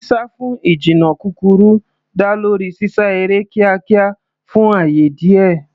Sísá fún ìjìnnà kúkúrú dá lórí sísá eré kíákíá fún ààyè díẹ̀.